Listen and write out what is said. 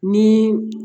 Ni